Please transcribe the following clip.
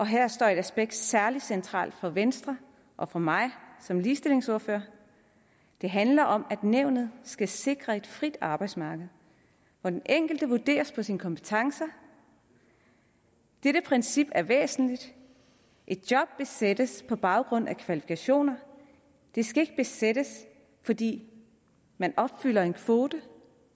her står et aspekt særlig centralt for venstre og for mig som ligestillingsordfører det handler om at nævnet skal sikre et frit arbejdsmarked hvor den enkelte vurderes ud fra sine kompetencer dette princip er væsentligt et job skal besættes på baggrund af kvalifikationer det skal ikke besættes fordi man opfylder en kvote